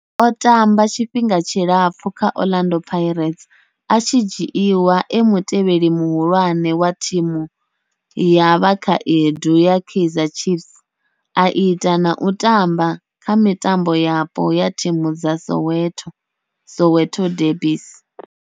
O tamba tshifhinga tshilapfhu kha Orlando Pirates, a tshi dzhiiwa e mutevheli muhulwane wa thimu ya vhakhaedu ya Kaizer Chiefs, a ita na u tamba kha mitambo yapo ya thimu dza Soweto, Soweto derbies.